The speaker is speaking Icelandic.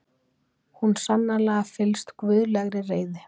Hún sannarlega fyllst guðlegri reiði.